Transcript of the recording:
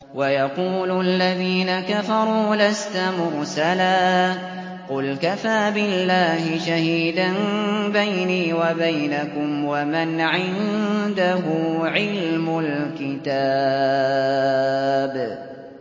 وَيَقُولُ الَّذِينَ كَفَرُوا لَسْتَ مُرْسَلًا ۚ قُلْ كَفَىٰ بِاللَّهِ شَهِيدًا بَيْنِي وَبَيْنَكُمْ وَمَنْ عِندَهُ عِلْمُ الْكِتَابِ